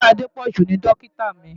Dọ́kítà Adépọ̀jù ni dọ́kítà mi.